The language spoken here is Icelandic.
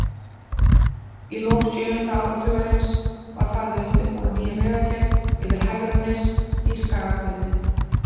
Í lok sjöunda áratugarins var farið að undirbúa nýja vegagerð yfir Hegranes í Skagafirði.